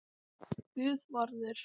Guðvarður